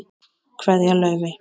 Kveðja, Laufey.